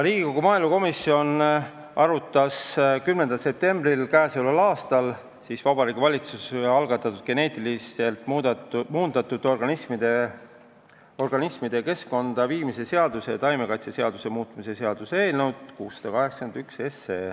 Riigikogu maaelukomisjon arutas 10. septembril k.a Vabariigi Valitsuse algatatud geneetiliselt muundatud organismide keskkonda viimise seaduse ja taimekaitseseaduse muutmise seaduse eelnõu 681.